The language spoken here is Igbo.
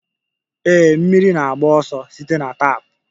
Ee, mmiri na-agba ọsọ site na tap.